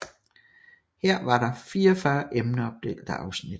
Her var der 44 emneopdelte afsnit